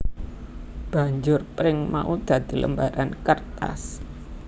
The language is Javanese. Banjur pring mau dadi lembaran kertas